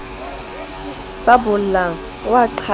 sa bollang a a qhaleha